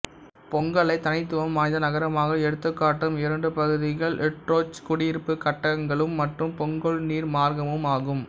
பொங்கோலை தனித்துவம் வாய்ந்த நகரமாக எடுத்துக்காட்டும் இவ்விரண்டு பகுதிகள் ட்ரிடோட்ச் குடியிருப்புக் கட்டடங்களும் மற்றும் பொங்கோல் நீர் மார்க்கமும் ஆகும்